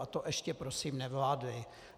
A to ještě prosím nevládli.